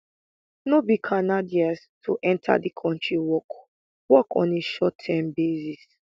no be canadians to enta di kontri work work on a shortterm basis